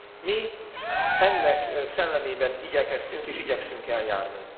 Mi ennek szellemében igyekeztünk és igyekszünk eljárni.